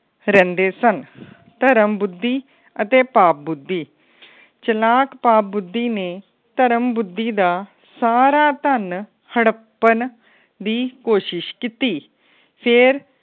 ਰਹਿੰਦੇ ਸਨ। ਪਰਮ ਬੁੱਧੀ ਅਤੇ ਪਾਪ ਬੁੱਧੀ ਚਲਾਕ ਪਾਪ ਬੁੱਧੀ ਨੇ ਪਰਮ ਬੁੱਧੀ ਦਾ ਸਾਰਾ ਧੰਨ ਹੜੱਪਣ ਦੀ ਕੋਸ਼ਿਸ਼ ਕੀਤੀ ਫੇਰ